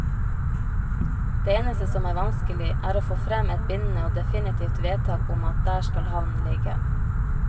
Det eneste som er vanskelig, er å få frem et bindende og definitivt vedtak om at der skal havnen ligge.